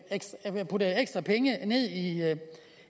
puttet ekstra penge